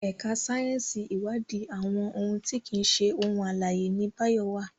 èka sáyẹnsì iwadi àwọn òun ti kii ṣe ohun alãye, ní Bayo wá.